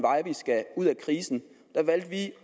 ud af krisen